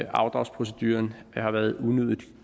afdragsproceduren har været unødig